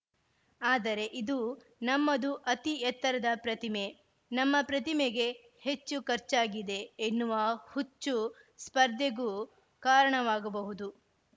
ಆದರೆ ಇದು ನಮ್ಮದು ಅತಿ ಎತ್ತರದ ಪ್ರತಿಮೆ ನಮ್ಮ ಪ್ರತಿಮೆಗೆ ಹೆಚ್ಚು ಖರ್ಚಾಗಿದೆ ಎನ್ನುವ ಹುಚ್ಚು ಸ್ಪರ್ಧೆಗೂ ಕಾರಣವಾಗಬಹುದು